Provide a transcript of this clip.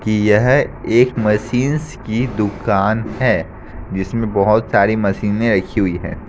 कि यह एक मशीन्स की दुकान है जिसमें बहुत सी मशीनें रखी हुई हैं।